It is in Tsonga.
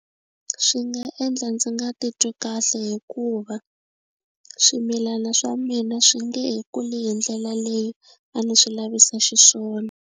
Swi nga endla ndzi nga titwi kahle hikuva swimilana swa mina swi nge kuli hindlela leyi a ni swi lavisa xiswona.